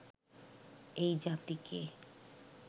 এই জাতিকে